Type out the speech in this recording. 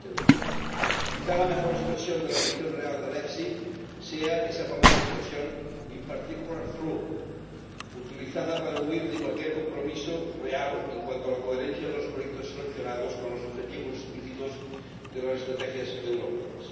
2020. Quizá, la mejor expresión de la ambición real del FEIE sea esa famosa expresión in particular through utilizada para huir de cualquier compromiso real en cuanto a la coherencia de los proyectos seleccionados con los objetivos explícitos de las estrategias europeas.